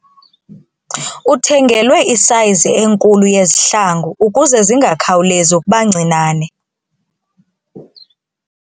Uthengelwe isayizi enkulu yezihlangu ukuze zingakhawulezi ukuba ncinane.